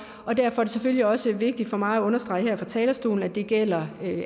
og derfor er det selvfølgelig også vigtigt for mig at understrege her fra talerstolen at det gælder